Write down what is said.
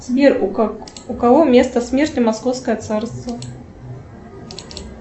сбер у кого место смерти московское царство